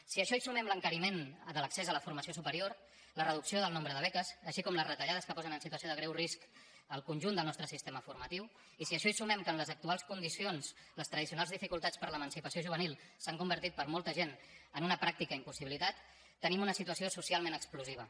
si a això hi sumem l’encariment de l’accés a la formació superior la reducció del nombre de beques així com les retallades que posen en situació de greu risc el conjunt del nostre sistema formatiu i si a això hi sumem que en les actuals condicions les tradicionals dificultats per a l’emancipació juvenil s’han convertit per a molta gent en una pràctica impossibilitat tenim una situació socialment explosiva